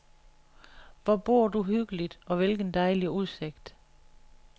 Hvor bor du hyggeligt og hvilken dejlig udsigt.